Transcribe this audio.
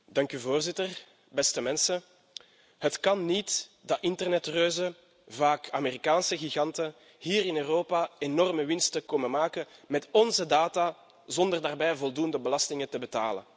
Voorzitter, beste mensen, het kan niet dat internetreuzen, vaak Amerikaanse giganten, hier in Europa enorme winsten komen maken met onze data, zonder daarbij voldoende belastingen te betalen.